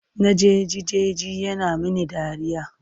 Na jeji jeji yana mini dariya.